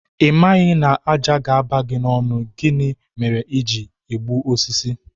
Ị maghị na ájá ga-aba n'ọnụ gị, gịnị mere i ji egbu osisi?